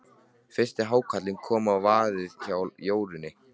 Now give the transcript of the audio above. Fyrsti hákarlinn kom á vaðinn hjá Jórunni.